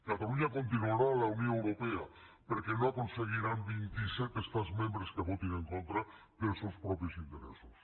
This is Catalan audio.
catalunya continuarà a la unió europea perquè no aconseguiran vint i set estats membres que votin en contra dels seus propis interessos